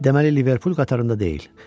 Deməli Liverpool qatarında deyil.